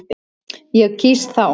Ég kýs þá.